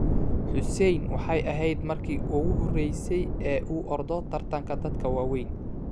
Xussein waxay ahayd markii ugu horeysay ee uu ordo tartanka dadka waaweyn.